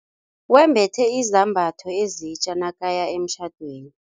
Wembethe izambatho ezitja nakaya emtjhadweni.